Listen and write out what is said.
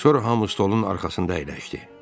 Sonra hamı stolun arxasında əyləşdi.